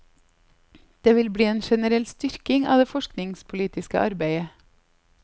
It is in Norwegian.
Det vil bli en generell styrking av det forskningspolitiske arbeidet.